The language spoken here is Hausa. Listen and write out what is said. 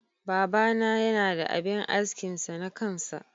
Baba na Yana da abin askin sa na kansa.